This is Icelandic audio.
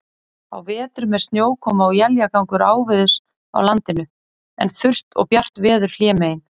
Á vetrum er snjókoma og éljagangur áveðurs á landinu, en þurrt og bjart veður hlémegin.